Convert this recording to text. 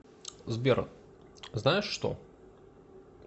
сбер знаешь что